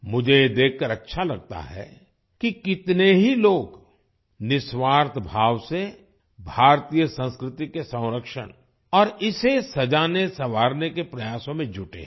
मुझे ये देखकर अच्छा लगता है कि कितने ही लोग निस्वार्थ भाव से भारतीय संस्कृति के संरक्षण और इसे सजानेसँवारने के प्रयासों में जुटे हैं